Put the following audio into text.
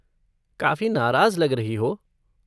काफ़ी नाराज़ लग रही हो।